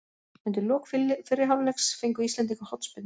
Undir lok fyrri hálfleiks fengu íslendingar hornspyrnu.